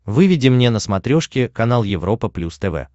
выведи мне на смотрешке канал европа плюс тв